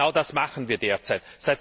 Genau das machen wir derzeit.